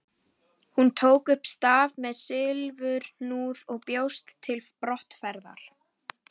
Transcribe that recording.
Hún tók upp staf með silfurhnúð og bjóst til brottferðar.